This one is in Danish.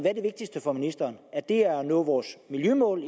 er det vigtigste for ministeren er det at nå vores miljømål